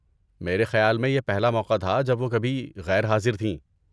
میرے خیال میں یہ پہلا موقع تھا جب وہ کبھی غیر حاضر تھیں۔